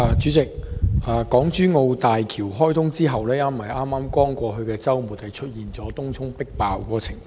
主席，港珠澳大橋開通後，剛過去的周末出現迫爆東涌的情況。